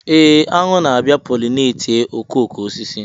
Ee, aṅụ ga-abịa pollinate okooko osisi.